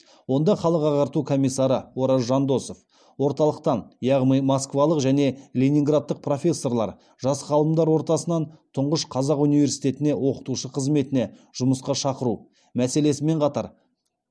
онда халық ағарту комиссары ораз жандосов орталықтан яғни москвалық және ленинградтық профессорлар жас ғалымдар ортасынан тұнғыш қазақ университетіне оқытушы қызметіне жұмысқа шақыру мәселесімен қатар